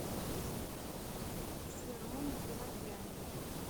сером геворгяне